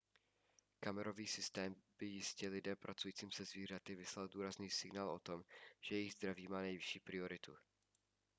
kamerový systém by jistě lidem pracujícím se zvířaty vyslal důrazný signál o tom že jejich zdraví má nejvyšší prioritu